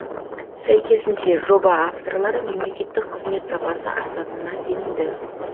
сәйкесінше жоба авторлары мемлекеттік қызмет сапасы артатынына сенімді